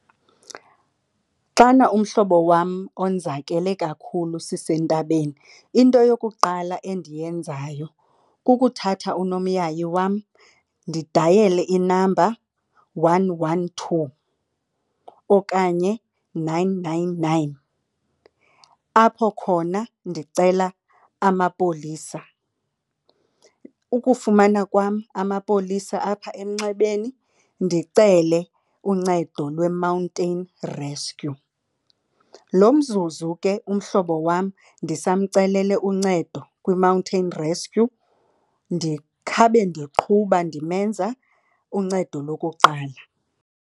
Xana umhlobo wam onzakele kakhulu sisentabeni into yokuqala endiyenzayo kukuthatha unomyayi wam ndidayele inamba one one two okanye nine nine nine apho khona ndicela amapolisa. Ukufumana kwam amapolisa apha emnxebeni ndicele uncedo lwe-mountain rescue. Lo mzuzu ke umhlobo wam ndisamcelele uncedo kwi-mountain rescue ndikhawube ndiqhuba ndimenza uncedo lokuqala.